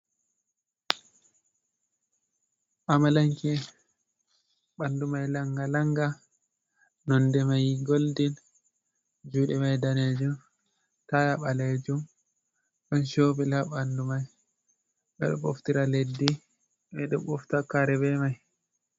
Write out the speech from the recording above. Amlamke ɓandu mai langa langa nonde mai goldin, juuɗe mai daneejum, taya ɓalejum, ɗon chebur ha ɓandu mai ɓe ɗo ɓoftira leddi ɓe ɗo ɓofta kare be mai.